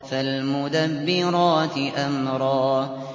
فَالْمُدَبِّرَاتِ أَمْرًا